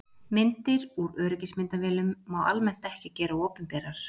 Myndir úr öryggismyndavélum má almennt ekki gera opinberar.